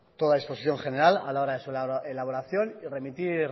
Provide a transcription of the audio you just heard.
disposición general a la hora de su elaboración y remitir